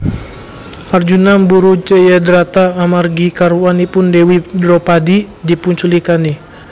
Arjuna mburu Jayadrata amargi garwanipun Dewi Dropadi dipunculikani